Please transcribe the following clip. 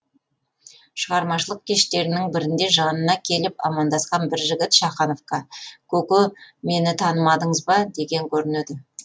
шығармашылық кештерінің бірінде жанына келіп амандасқан бір жігіт шахановқа көке мені танымадыңыз ба деген көрінеді